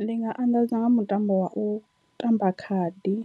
Ndi nga anḓadza nga mutambo wa u tamba khadi